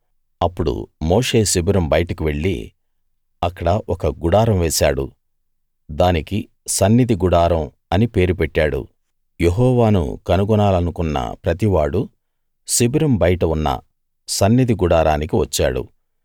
అప్పుడు మోషే శిబిరం బయటకు వెళ్లి అక్కడ ఒక గుడారం వేశాడు దానికి సన్నిధి గుడారం అని పేరు పెట్టాడు యెహోవాను కనుగొనాలనుకున్న ప్రతివాడూ శిబిరం బయట ఉన్న సన్నిధి గుడారానికి వచ్చాడు